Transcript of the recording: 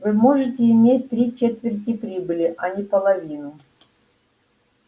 вы можете иметь три четверти прибыли а не половину